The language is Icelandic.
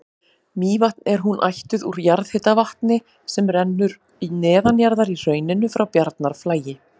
Mývatn er hún ættuð úr jarðhitavatni sem rennur neðanjarðar í hrauninu frá Bjarnarflagi.